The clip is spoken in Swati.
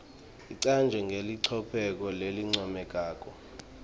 icanjwe ngelicophelo lelincomekako